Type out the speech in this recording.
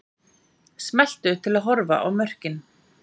Smelltu til að horfa á mörkin